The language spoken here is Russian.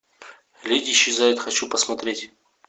леди исчезает хочу посмотреть